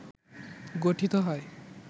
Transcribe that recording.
গঠিত হয়